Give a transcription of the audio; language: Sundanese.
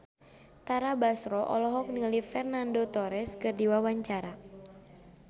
Tara Basro olohok ningali Fernando Torres keur diwawancara